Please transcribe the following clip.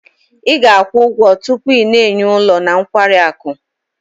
Ị ga-akwụ ụgwọ tupu ị na-enye ụlọ na nkwari akụ.